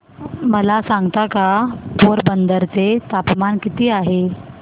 मला सांगता का पोरबंदर चे तापमान किती आहे